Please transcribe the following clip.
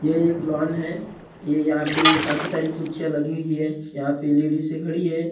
यह एक लॉन है यहाँ पे काफी सारी कुर्सियाँ लगी हैं यहाँ पे लेडीज खड़ी हैं और--